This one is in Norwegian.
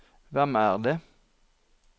hvem er det